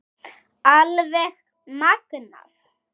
Alveg magnað!